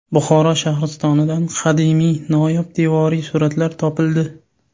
Buxoro Shahristonidan qadimiy noyob devoriy suratlar topildi.